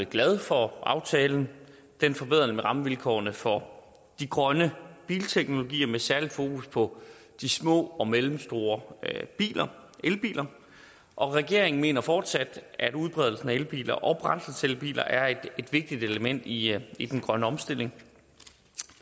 glad for aftalen den forbedrer nemlig rammevilkårene for de grønne bilteknologier med særligt fokus på de små og mellemstore elbiler og regeringen mener fortsat at udbredelsen af elbiler og brændselscellebiler er et vigtigt element i i den grønne omstilling